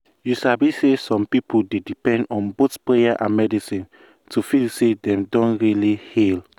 you sabi say some people dey depend on both prayer and medicine to feel say dem don really heal.